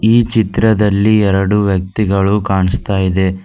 ಈ ಚಿತ್ರದಲ್ಲಿ ಎರಡು ವ್ಯಕ್ತಿಗಳು ಕಾಣಸ್ತಾಇದೆ.